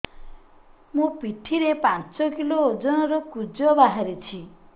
ମୋ ପିଠି ରେ ପାଞ୍ଚ କିଲୋ ଓଜନ ର କୁଜ ବାହାରିଛି